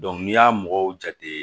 n'i y'a mɔgɔw jate